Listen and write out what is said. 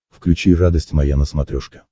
включи радость моя на смотрешке